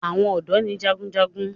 àwọn odò ní jágunjágun.